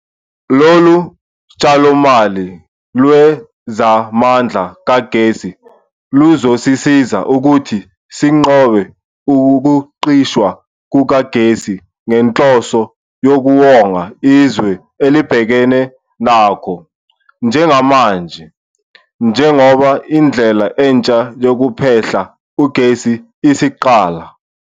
Lolu tshalomali lwezamandla kagesi luzosisiza ukuthi sinqobe ukucishwa kukagesi ngenhloso yokuwonga izwe elibhekene nakho njengamanje, njengoba indlela entsha yokuphehla ugesi isiqala.